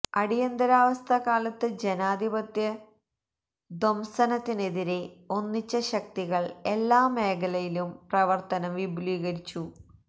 അടിയന്തരാവസ്ഥക്കാലത്ത് ജനാധിപത്യ ധ്വംസനത്തിനെതിരെ ഒന്നിച്ച ശക്തികള് എല്ലാ മേഖലയിലും പ്രവര്ത്തനം വിപുലീകരിച്ചു